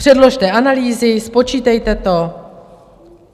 Předložte analýzy, spočítejte to.